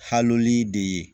Haloli de ye